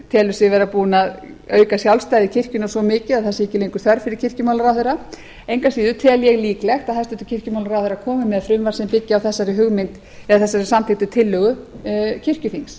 telur sig vera búinn að auka sjálfstæði kirkjunnar svo mikið að það sé ekki lengur þörf fyrir kirkjumálaráðherra engu að síður tel ég líklegt að hæstvirtur kirkjumálaráðherra komi með frumvarp sem byggi á þessari hugmynd eða þessari samþykktu tillögu kirkjuþings